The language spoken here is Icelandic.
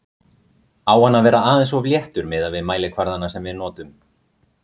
Á hann að vera aðeins of léttur miðað við mælikvarðana sem við notum?